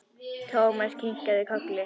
Thomas kinkaði kolli.